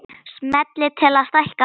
Smellið til að stækka myndina